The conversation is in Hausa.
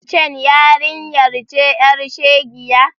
Wancen yarinyar ce ƴar shegiya?